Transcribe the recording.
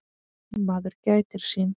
Maður gætir sín.